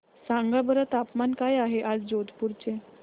सांगा बरं तापमान काय आहे आज जोधपुर चे